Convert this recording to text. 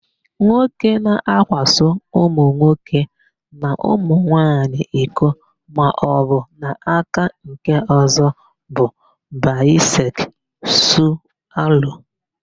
Nwoke na-akwaso ụmụnwoke na ụmụnwanyi iko maọbụ n'aka nkeọ̀zọ́ bụ baịsekzualu.